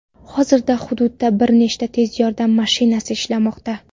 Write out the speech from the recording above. Hozirda hududda bir nechta tez yordam mashinasi ishlamoqda.